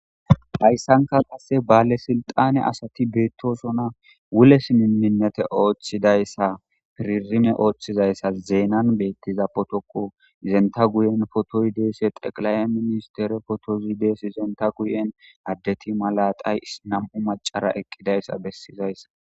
hayssanka qasse baale silxane asati beettosona wules miminete ooththidayssa piririme ooththizayssa zeenan beettiza potoko izenta guyen fotoyideese xeqla7e ministere fotozidees izenta guyen addeti malaxay nam7u macara eqqidayssa bessizayssa.